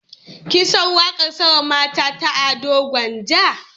Kin san waƙar Sama Mata ta Ado Gwanja?